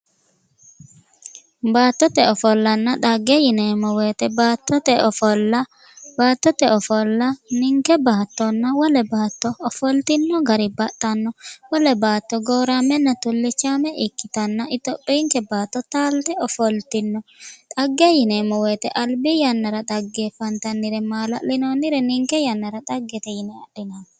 Baattote ofollanna dhagge yinneemmo woyte baattote ofolla ,baattote ofolla ninke baatto wole baatto ofolitino gari baxxano wole baatto gooramenna tulichame ikkittano itophiyinke baatto taalite ofollitino ,dhagge yinneemmo woyte albi yannara. dhaggeffantannire maala'linonire ninke yannara dhaggete yinne adhinanni.